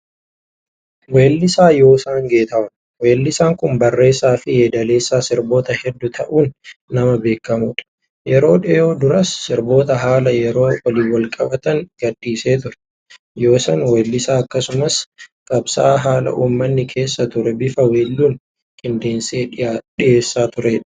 Weellisaa Yoosan Geetahuun. Weellisaan kun barreessaa fi yeedaleessaa sirboota hedduu ta'uun nama beekamudha. Yeroo dhiyoo duras sirboota haala yeroo waliin wal-qabatan gadhiisee ture. Yoosan weellisaa akkasumas qabsaa'aa haala uummanni keessa ture bifa weelluun qindeessee dhiyeessaa turedha.